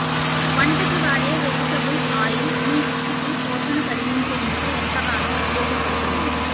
వంటకి వాడే vegetable oil మీ జుట్టుకి పోషణ కలిగించేందుకు ఎంతగానో ఉపయోగపడుతుంది